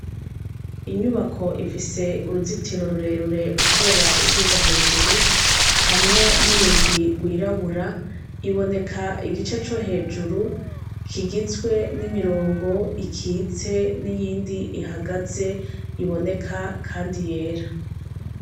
Inyubako ifise uruzitiro rure rure utera uduga hejuru hamwe n' urugi gwirabura iboneka igice co hejuru kigizwe n' imirongo ikitse n' iyindi ihagaze iboneka kandi yera.